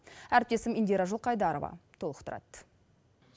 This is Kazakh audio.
әріптесім индира жылқайдарова толықтырады